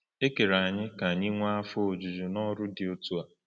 E kere anyị ka anyị nwee afọ ojuju n’ọrụ dị otu a.